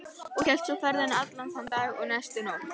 Og hélt svo ferðinni allan þann dag og næstu nótt.